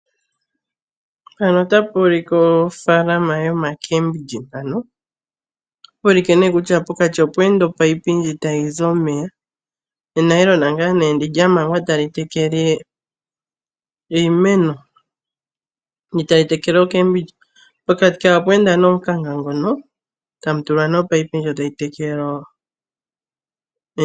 Mpano otapu ulikwa ofaalama yo makeembilyi mpano. Otapuulike nee kutya pokati opweenda opayopi tayizi omeya, enayilona ngaa neendi lyamangwa tali tekele iimeno, ndi tali tekele ookeembilyi. Pokati kawo opweenda nee omukanka ngono tamutulwa nee opayipi ndjo tayi tekele ookeembilyi.